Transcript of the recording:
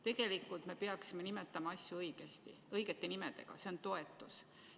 Tegelikult me peaksime nimetama asju õigete nimedega: see on toetus.